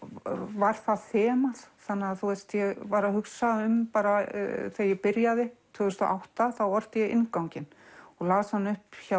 var það þemað ég var að hugsa um þegar ég byrjaði tvö þúsund og átta þá orti ég innganginn og las hann upp hjá